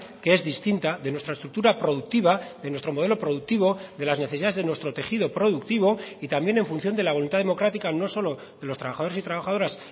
que es distinta de nuestra estructura productiva de nuestro modelo productivo de las necesidades de nuestro tejido productivo y también en función de la voluntad democrática no solo de los trabajadores y trabajadoras